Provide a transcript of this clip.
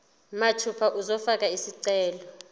mathupha uzofaka isicelo